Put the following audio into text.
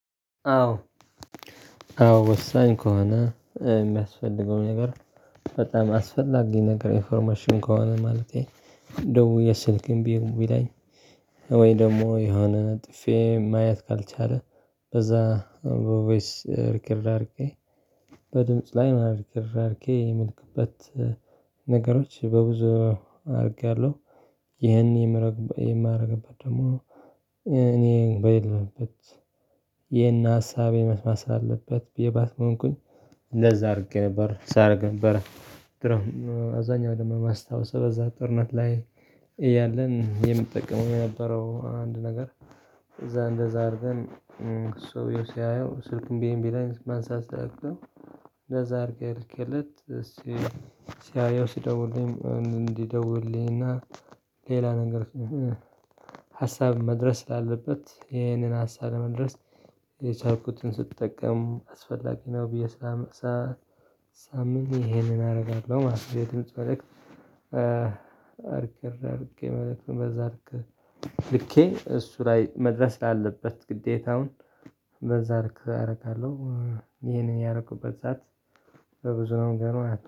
አዎ። አዎ ወሳኝ ከሆነ የሚያስፈልገው ነገር በጣም አስፈላጊ ነገር ኢንፎርሜሽን ከሆነ ማለቴ ደውዬ ስልክም እንቢ ቢለኝ ወይ ደግሞ የሆነ ጥፌ ማየት ካልቻለ በዛ በቦይስ ሪከርድ በድምጽ ላይ ማርኬ ምልክበት ነገሮች በብዙ አድርጌያለሁ። ይህን የምረግበት የማደርግበት ደግሞ እኔ በሌለበት ይህን ሀሳቤ መስማት ሳለበት ብዬ ባትሆንኩኝ ለዛ አድርጌ ነበር ሳደርግ ነበር። አብዛኛው ደግሞ ማስታወስ በዛ ጥናት ላይ ያለን የምጠቀመው የነበረው አንድ ነገር እዛ እንደዛ አድርገን እ ሰውየው ሲያየው ስልኩን ቢእምቢ ላይ ማንሳት ሲያቅተው። እንደዛ አድርገህ ልኬለት እስቲ አየው ሲደውልልኝ እንዲደውልልኝና ሌላ ነገር እ እ ሀሳብ መድረስ ስላለበት ይሄንን ሀሳብ ለማድረስ የቻልኩትን ስጠቀም አስፈላጊ ነው ብዬ ሳም ሳ ሳምን ይሄንን አደርጋለሁ ማለት ነው። የድምጥ መልእክት ሪከርድ አድርጌ መልእክቱን በዛ አድርገህ ልኬ እሱ ላይ መድረስ ስላለበት ግዴታውን በዛ ልክ አደርጋለሁ። እ ይሄንን ያደረኩበት ሰዓት በብዙ ነው ገና